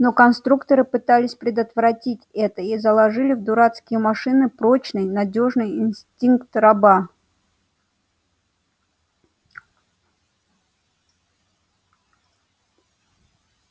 но конструкторы пытались предотвратить это и заложили в дурацкие машины прочный надёжный инстинкт раба